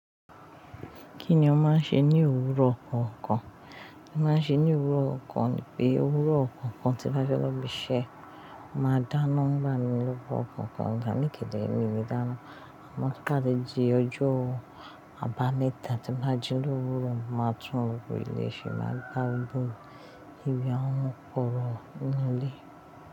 Kí ni o máa ń ṣe ní òwúrọ̀ ọkọ̀? Mo máa ń ṣe ní òwúrọ̀ ọkọ̀ ni pé òwúrọ̀ kọ̀kan tí bá fẹ́ lọ ibi iṣẹ́, màá dáná ń gba ni lórí ọkọ̀ kan, gan ikile mi ni mi dáná. Mo ti kà á de ji ọjọ́ àbámẹ́ta tí n bá ji lówúrọ̀, màá tún gbogbo ilé ṣe, màá gba gbogbo ibi àwọn koro nínú ilé.